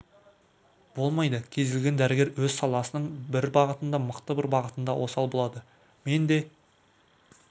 болмайды кез келген дәрігер өз саласының бір бағытында мықты бір бағытында осал болады мен де